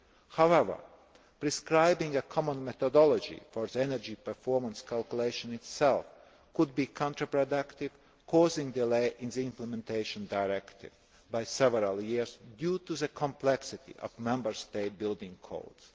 However, prescribing a common methodology for the energy performance calculation itself could be counter productive, causing delays in the implementation of the Directive by several years due to the complexity of Member States' building